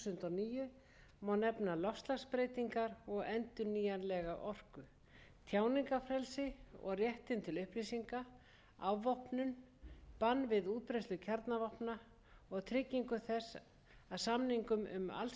níu má nefna loftslagsbreytingar og endurnýjanlega orku tjáningarfrelsi og réttinn til upplýsinga afvopnun bann við útbreiðslu kjarnavopna og tryggingu þess að samningum um allsherjarbann við tilraunum með kjarnavopn sé framfylgt og baráttuna við